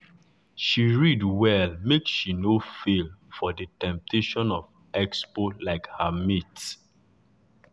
she read well make she no fall for the temptation of expo like her mate.